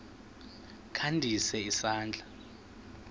kha ndise isandla